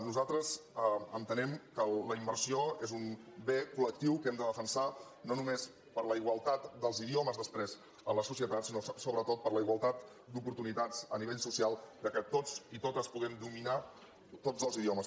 nosaltres entenem que la immersió és un bé collectiu que hem de defensar no només per la igualtat dels idio mes després a la societat sinó sobretot per la igualtat d’oportunitats a nivell social que tots i totes puguem dominar tots dos idiomes